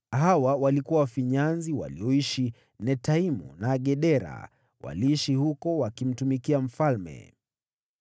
Hawa walikuwa wafinyanzi walioishi Netaimu na Gedera; waliishi huko wakimtumikia mfalme.